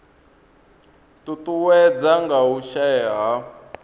ṱuṱuwedzwa nga u shaea ha